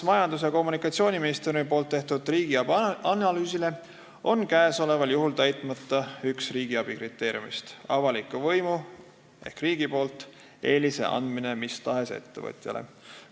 Majandus- ja Kommunikatsiooniministeeriumi tehtud riigiabi analüüsi kohaselt on käesoleval juhul täitmata üks riigiabi kriteerium: avaliku võimu ehk riigi poolt eelise andmine mis tahes ettevõtjale.